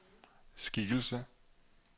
skikkelse